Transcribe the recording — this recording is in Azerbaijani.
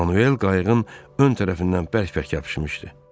Manuel qayıgın ön tərəfindən bərk-bərk yapışmışdı.